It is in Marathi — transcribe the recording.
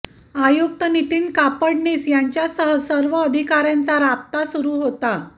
आयुक्त नितीन कापडनीस यांच्यासह सर्व अधिकार्यांचा राबता सुरू होता